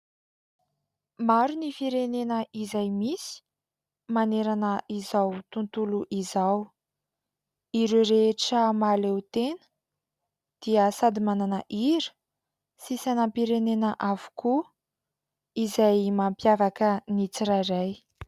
Maro ny firenena izay misy manerana izao tontolo izao. Ireo rehetra mahaleo tena dia sady manana hira sy sainampirenena avokoa izay mampiavaka ny tsirairay.